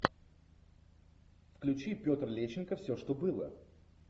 включи петр лещенко все что было